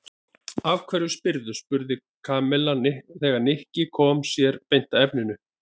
Af hverju spyrðu? spurði Kamilla þegar Nikki kom sér beint að efninu.